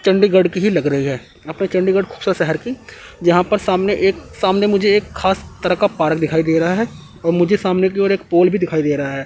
चंडीगढ़ की ही लग रही है अपने चंडीगढ़ शहर की यहां पर सामने एक सामने मुझे एक खास तरह का पार्क दिखाई दे रहा है और मुझे सामने की ओर एक पोल भी दिखाई दे रहा है।